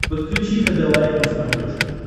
подключи хд лайф на смотрешке